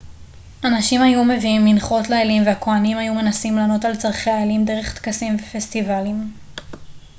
אנשים היו מביאים מנחות לאלים והכוהנים היו מנסים לענות על צרכי האלים דרך טקסים ופסטיבלים